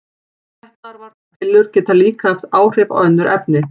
Getnaðarvarnarpillur geta líka haft áhrif á önnur efni.